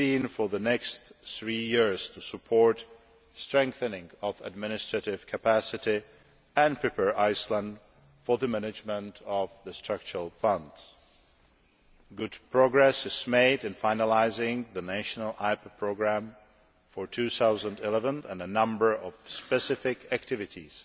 for the next three years to support strengthening of administrative capacity and to prepare Iceland for management of the structural funds. Good progress is being made on finalising the national IPA programme for 2011 and a number of specific activities